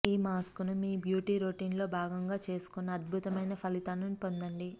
ఈ మాస్క్ ని మీ బ్యూటీ రొటీన్ లో భాగంగా చేసుకుని అద్భుతమైన ఫలితాలను పొందండి